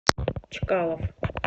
чкалов